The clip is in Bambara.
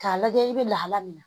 K'a lajɛ i bɛ lahala min na